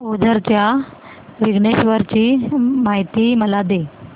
ओझर च्या विघ्नेश्वर ची महती मला सांग